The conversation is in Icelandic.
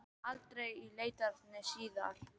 Það kom aldrei í leitirnar síðar.